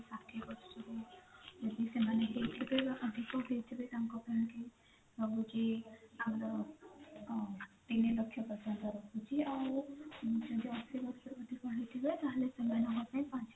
ଷାଠିଏ ବର୍ଷରୁ ଯଦି ସେମାନେ ହେଇଥିବେ ଅଧିକ ହେଇଥିବେ ତାଙ୍କପାଇଁ କି ତାପରେ ହୋଉଛି ଆମର ତିନି ଲକ୍ଷ ପଚାଶ ହଜାର ରହୁଛି ଆଉ ଯଦି ଅଶି ଲକ୍ଷ ରୁ ଅଧିକ ହେଇଥିବା ତ ସେମାନଙ୍କ ପାଇଁ ପାଞ୍ଚ